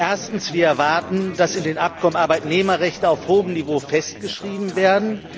Erstens Wir erwarten, dass in den Abkommen Arbeitnehmerrechte auf hohem Niveau festgeschrieben werden.